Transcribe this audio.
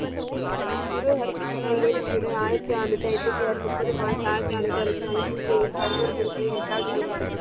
குரு ஹரி கிருஷ்ணா ஏழு ஜூலை ஆயிரத்தி ஐநூத்தி அம்பத்தி ஆறு நுப்பது மார்ச்ஆயரத்தி அரனுத்தி அறுபத்தி நாலு பதினோரு குருக்களின் எட்டாவது ஆவார்.